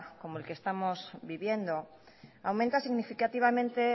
como el que estamos viviendo aumenta significativamente